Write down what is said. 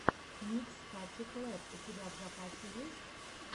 микс кати клэпп у тебя в запасе есть